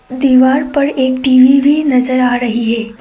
दीवार पर एक टी_वी भी नजर आ रही है।